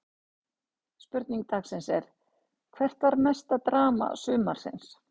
Spurning dagsins er: Hvert var mesta drama sumarsins?